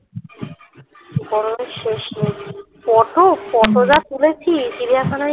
গরমের শেষ নেই photo photo যা তুলেছি চিড়িয়াখানায়